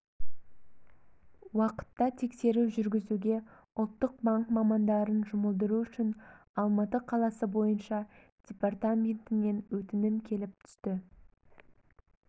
уақытта тексеру жүргізуге ұлттық банк мамандарын жұмылдыру үшін алматы қаласы бойыша департаментінен өтінім келіп түсті